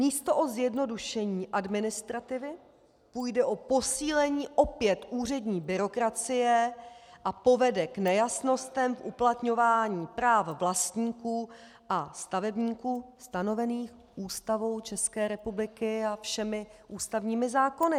Místo o zjednodušení administrativy půjde o posílení opět úřední byrokracie a povede k nejasnostem v uplatňování práv vlastníků a stavebníků stanovených Ústavou České republiky a všemi ústavními zákony.